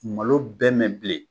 Malo bɛ mɛn bilen.